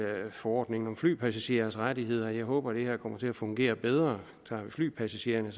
forordningen om flypassagerers rettigheder at jeg håber at det her kommer til at fungere bedre tager vi flypassagererne